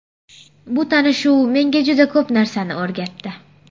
Bu tanishuv menga juda ko‘p narsani o‘rgatdi.